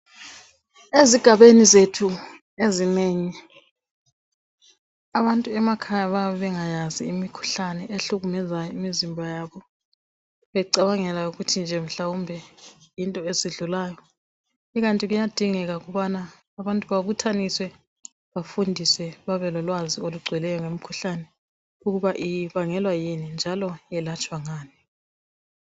Ezigabeni zethu ezinengi abantu emakhaya bayabe bengakwazi imikhuhlane ehlukumeza imizimba yabo, becabanga mhlawumbe yinto ezidlulayo. Ikanti kuyadingeka ukubana abantu babuthaniswe, bafundiswe, babelolwazi olugcweleyo ngemikhuhlane, ukuba ibangellwa yini njalo yelatshwa ngani.